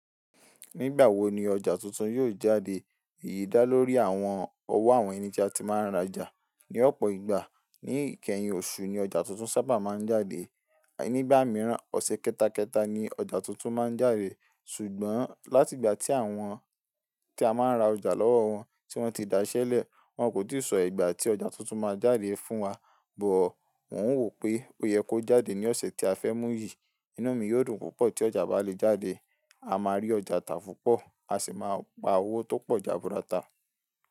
Nígbà wo ni ọjà tuntun yóò jáde? Èyí dá lórí àwọn owó àwọn ènì tí a ti máa ń ra'jà. Ni ọ̀pọ̀ ìgbà ní ìkẹyìn oṣù ni ọjà tuntun sábà máa ń jáde. Nígbà mìíràn, ọ̀sẹ̀ kẹta kẹta ni ọjà tuntun máa ń jáde. Ṣùgbọ́n láti ìgbà tí àwọn tí a máa ń ra ọjà lọ́wọ́ wọn tí wọ́n ti da iṣẹ́leẹ̀, wọ́n kò tíì sọ ìgbà tí ọjà tuntun máa jáde fún wa. Bọ̀ mò ń wò pé ó yẹ kó jáde ní ọ̀sẹ̀ tí a fẹ́ mú yìí. Inú mi yóò dùn púpọ̀ tí ọjà bá le jáde. A máa rí ọjà ta púpọ̀, a sì máa pa owó tó pọ̀ jaburata.